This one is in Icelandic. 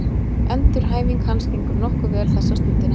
Endurhæfing hans gengur nokkuð vel þessa stundina.